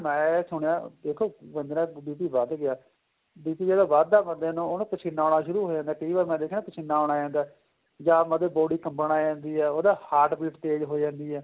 ਮੈਂ ਸੁਣਿਆ ਦੇਖੋ ਬੰਦੇ ਦਾ BP ਵੱਧ ਗਿਆ BP ਜਦੋਂ ਵੱਧ ਦਾ ਬੰਦੇ ਨੂੰ ਉਹਨੂੰ ਪਸੀਨਾ ਆਉਣਾ ਸ਼ੁਰੂ ਹੋ ਜਾਂਦਾ ਏ ਕਈ ਵਾਰ ਮੈਂ ਦੇਖਿਆ ਪਸੀਨਾ ਆਉਣ ਜਾਂਦਾ ਏ ਜਾਂ ਮਤਲਬ body ਕੱਬਣ ਲੱਗ ਜਾਂਦੀ ਏ ਉਹਦਾ heart beat ਤੇਜ ਹੋ ਜਾਂਦੀ ਏ